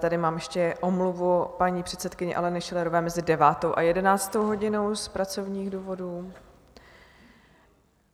Tady mám ještě omluvu paní předsedkyně Aleny Schillerové mezi 9. a 11. hodinou z pracovních důvodů.